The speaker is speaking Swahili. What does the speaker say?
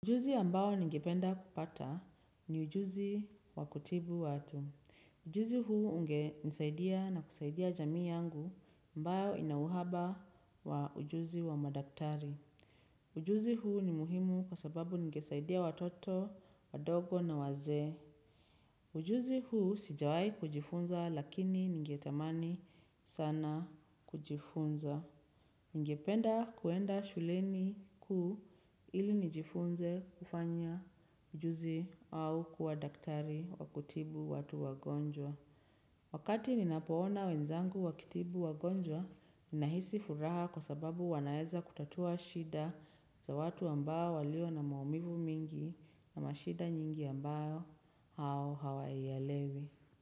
Ujuzi ambao ningependa kupata ni ujuzi wa kutibu watu. Ujuzi huu ungenisaidia na kusaidia jamii yangu ambayo ina uhaba wa ujuzi wa madaktari. Ujuzi huu ni muhimu kwa sababu ningesaidia watoto, wadogo na wazee. Ujuzi huu sijawai kujifunza lakini ningetamani sana kujifunza. Ningependa kuenda shuleni kuu ili nijifunze kufanya ujuzi au kuwa daktari wa kutibu watu wagonjwa. Wakati ninapoona wenzangu wakitibu wagonjwa, ninahisi furaha kwa sababu wanaeza kutatua shida za watu ambayo walio na maumivu mingi na mashida nyingi ambayo hao hawaielewi.